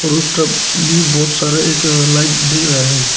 और उस तरफ भी बहुत सारा एक लाइट दिख रहा है।